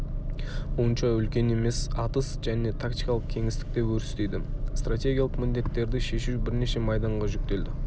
онша үлкен емес атыс және тактикалық кеңістікте өрістейді стратегиялық міндеттерді шешу бірнеше майданға жүктелді